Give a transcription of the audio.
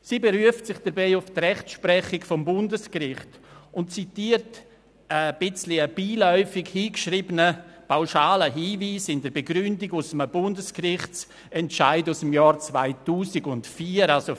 Sie beruft sich dabei auf die Rechtsprechung des Bundesgerichts und zitiert in der Begründung einen etwas beiläufig hingeschriebenen, pauschalen Hinweis aus einem Bundesgerichtsentscheid aus dem Jahr 2004.